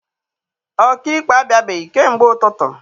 Ọkaikpe abịabeghị kamgbe ụtụtụ.